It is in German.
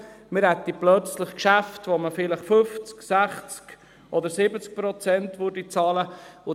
– Wir hätten plötzlich Geschäfte, bei denen wir vielleicht 50, 60 oder 70 Prozent bezahlen würden.